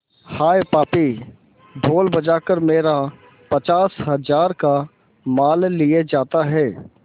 हाय पापी ढोल बजा कर मेरा पचास हजार का माल लिए जाता है